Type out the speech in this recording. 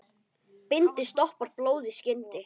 Bindi stoppar blóð í skyndi.